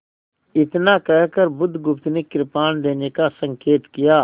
इतना कहकर बुधगुप्त ने कृपाण देने का संकेत किया